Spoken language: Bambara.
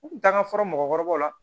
U kun t'an ka fɔlɔ mɔgɔkɔrɔbaw la